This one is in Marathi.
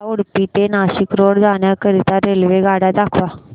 मला उडुपी ते नाशिक रोड जाण्या करीता रेल्वेगाड्या दाखवा